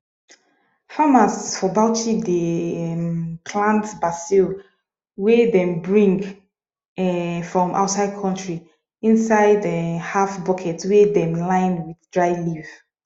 farmers for bauchi dey um plant basil wey dem bring um from outside country inside um half bucket wey dem line wth dry leaf